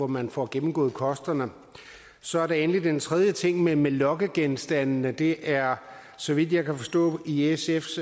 man får gennemgået kosterne så er der endelig den tredje ting med med lokkegenstande det er så vidt jeg kan forstå i sfs